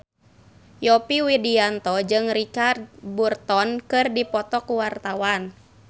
Yovie Widianto jeung Richard Burton keur dipoto ku wartawan